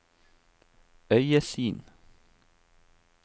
øyesyn